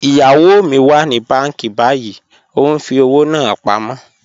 Iyawo mi wà ní bànki bàyìí, o n fi ọwọ́ náà pámọ.